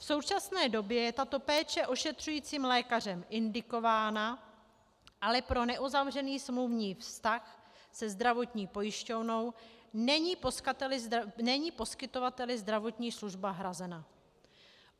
V současné době je tato péče ošetřujícím lékařem indikována, ale pro neuzavřený smluvní vztah se zdravotní pojišťovnou není poskytovateli zdravotní služba hrazena.